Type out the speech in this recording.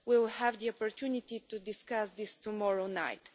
We will have the opportunity to discuss this tomorrow night.